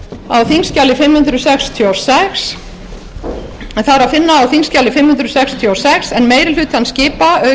en það er að finna á þingskjali fimm hundruð sextíu og sex en meiri hlutann skipa auk